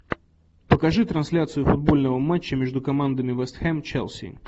покажи трансляцию футбольного матча между командами вест хэм челси